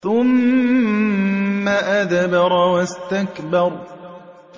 ثُمَّ أَدْبَرَ وَاسْتَكْبَرَ